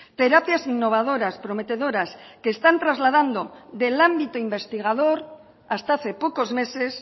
terapias innovadoras prometedoras que están trasladando del ámbito investigador hasta hace pocos meses